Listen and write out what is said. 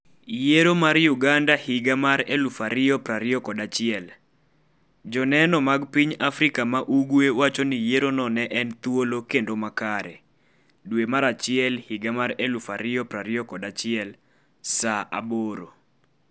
, Yiero mar Uganda higa mar 2021: Joneno mag piny Afrika ma ugwe wacho ni yierono ne en thuolo kendo makare, Saa 4,4516 dwe mar achiel higa mar 2021 saa 2:00